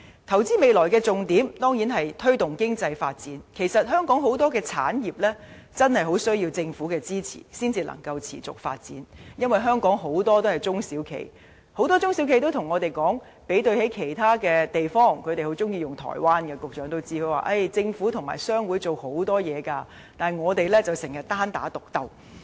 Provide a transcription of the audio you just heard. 投資未來的重點當然是推動經濟發展，其實香港有很多產業真的很需要政府支持，才能夠持續發展，這是因為在香港經營的企業中，很多都是中小型企業，局長也許知道，他們很喜歡以台灣為例，而他們很多也告訴我："其他地方的政府和商會做了很多工作，但相比之下，我們卻經常單打獨鬥。